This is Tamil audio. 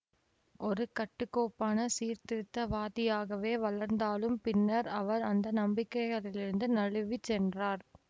ஒரு கட்டுக்கோப்பான சீர்திருத்தவாதியாகவே வளர்ந்தாலும் பின்னர் அவர் அந்த நம்பிக்கைகளிலிருந்து நழுவிச் சென்றார்